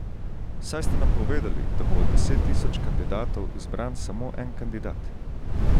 Saj ste nam povedali, da bo od deset tisoč kandidatov izbran samo en kandidat.